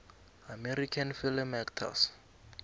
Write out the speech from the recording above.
american film actors